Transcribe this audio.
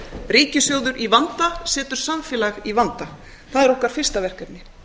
ríkissjóður í vanda setur samfélag í vanda það er okkar fyrsta verkefni